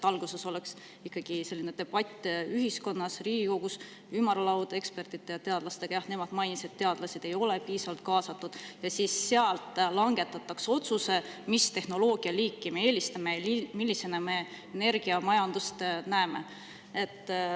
Alguses oleks ikkagi pidanud olema debatt ühiskonnas, Riigikogus, ümarlaud ekspertide ja teadlastega – nad mainisid, et teadlased ei ole piisavalt kaasatud – ja siis oleks langetatud otsus, mis tehnoloogialiiki me eelistame ja millisena me energiamajandust näeme.